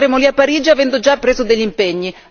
Noi andremo lì a Parigi avendo già preso degli impegni!